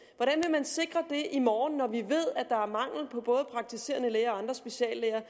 man sikre det i morgen når vi ved at der er mangel på både praktiserende læger og andre speciallæger